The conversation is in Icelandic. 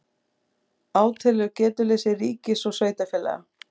Átelur getuleysi ríkis og sveitarfélaga